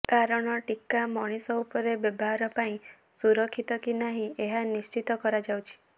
କାରଣ ଟୀକା ମଣିଷ ଉପରେ ବ୍ୟବହାର ପାଇଁ ସୁରକ୍ଷିତ କି ନାହିଁ ଏହା ନିଶ୍ଚିତ କରାଯାଉଛି